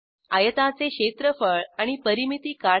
आयताचे क्षेत्रफळ आणि परिमिती काढा